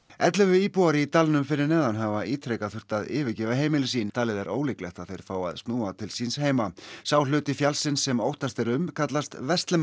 ellefu íbúar í dalnum fyrir neðan hafa ítrekað þurft að yfirgefa heimili sín talið er ólíklegt að þeir fái að snúa til síns heima sá hluti fjallsins sem óttast er um kallast